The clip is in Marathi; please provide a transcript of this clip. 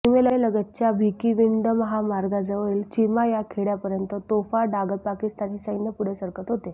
सीमेलगतच्या भिकिविंड महामार्गाजवळील चिमा या खेडय़ापर्यंत तोफा डागत पाकिस्तानी सैन्य पुढे सरकत होते